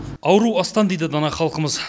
ауру астан дейді дана халқымыз